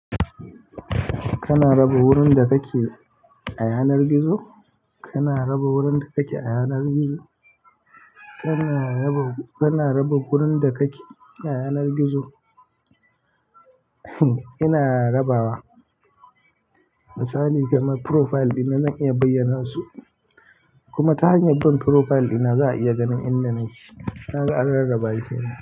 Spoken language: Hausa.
Kana raba wurin da kake a yanar gizo? Kana raba wurin da kake a yanar gizo? Kana raba, kana raba wurin da kake a yanar gizo? Ina rabawa misali kamar profile ɗina zan iya bayyana su kuma ta hanyar bin profile ɗina za a iya ganin inda nake. Ka ga an rarraba shi kenan.